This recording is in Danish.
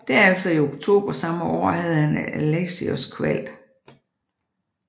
Derefter i oktober samme år havde han Alexios kvalt